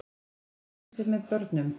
Leiðarvísir með börnum.